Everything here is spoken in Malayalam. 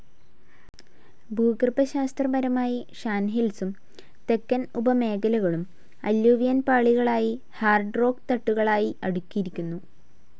ഭൂഗർഭശാസ്ത്രപരമായി ഷാൻ ഹിൽസും തെക്കൻ ഉപമേഖലകളും, അല്ലൂവിയൻ പാളികളായി ഹാർഡ്‌ റോക്ക്‌ തട്ടുകളായി അടുക്കിയിരിക്കുന്നു.